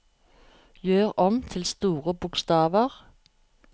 Gjør om til store bokstaver